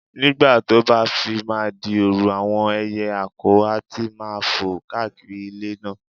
Nígbà tó bá fi máa di òru, àwọn ẹyẹ àkọ̀ á ti máa fò káàkiri ilé náà